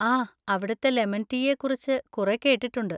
ആ, അവിടുത്തെ ലെമൺ റ്റീയെ കുറിച്ച് കുറെ കേട്ടിട്ടുണ്ട്.